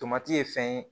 Tomati ye fɛn ye